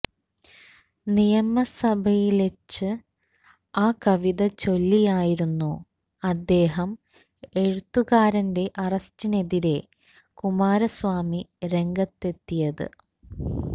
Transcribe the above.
നിയമസഭയില്വെച്ച് ആ കവിത ചൊല്ലിയായിരുന്നു അദ്ദേഹം എഴുത്തുകാരന്റെ അറസ്റ്റിനെതിരെ കുമാരസ്വാമി രംഗത്തെത്തിയത്